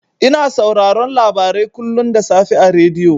Ina sauraron labarai kullun da safe a rediyo.